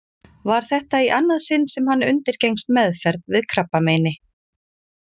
Var þetta í annað sinn sem hann undirgengst meðferð við krabbameini.